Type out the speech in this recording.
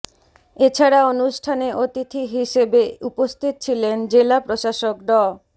এছাড়া অনুষ্ঠানে অতিথি হিসেবে উপস্থিত ছিলেন জেলা প্রশাসক ড